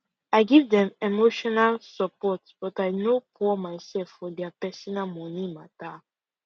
i give dem emotional support but i no pou myself for dia personal money matter